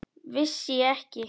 Vissi ég ekki!